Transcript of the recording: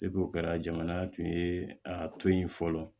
o kɛra jamana tun ye a to yen fɔlɔ